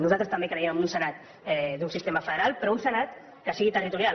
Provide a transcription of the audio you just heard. nosaltres també creiem en un senat d’un sistema federal però un senat que sigui territorial